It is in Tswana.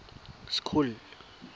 school